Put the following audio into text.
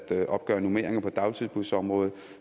at opgøre normeringer på dagtilbudsområdet